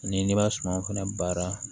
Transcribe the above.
Ni n'i ma sumaw fɛnɛ baara